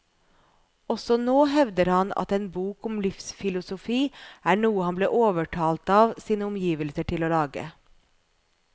Også nå hevder han at en bok om livsfilosofi er noe han ble overtalt av sine omgivelser til å lage.